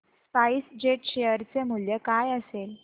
spice jet share चे मूल्य काय असेल